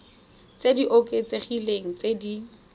tse di oketsegileng tse di